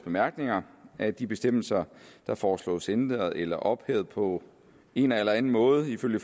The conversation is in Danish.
bemærkninger at de bestemmelser der foreslås ændret eller ophævet på en eller anden måde ifølge